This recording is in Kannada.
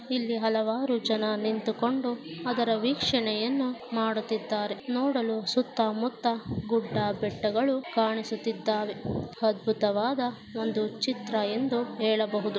ಇಲ್ಲಿ ಹಲವಾರು ಜನ ನಿಂತುಕೊಂಡು ಅದರ ವೀಕ್ಷಣೆಯನ್ನು ಮಾಡುತ್ತಿದ್ದಾರೆ ನೋಡಲು ಸುತ್ತ ಮುತ್ತ ಗುಡ್ಡ ಬೆಟ್ಟಗಳು ಕಾಣಿಸುತ್ತಿದ್ದಾವೆ. ಅದ್ಭುತವಾದ ಒಂದು ಚಿತ್ರ ಎಂದು ಹೇಳಬಹುದು.